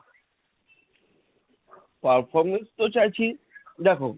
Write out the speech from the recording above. performance তো চাইছি দেখো,